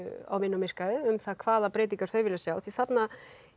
á vinnumarkaði um hvaða breytingar þau vilja sjá því þarna